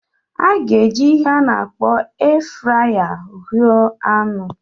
A ga-eji ihe a na-akpọ air fryer huu anu.